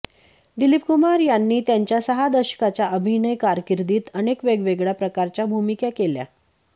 दिलीप कुमार यांनी त्यांच्या सहा दशकाच्या अभिनय कारकिर्दीत अनेक वेगवेगळ्या प्रकारच्या भूमिका केल्या